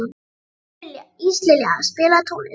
Íslilja, spilaðu tónlist.